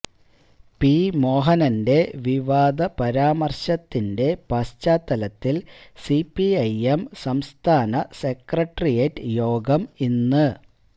P മോഹനന്റെ വിവാദ പരാമര്ശത്തിന്റെ പശ്ചാത്തലത്തില് സിപിഐഎം സംസ്ഥാന സെക്രട്ടേറിയറ്റ് യോഗം ഇന്ന്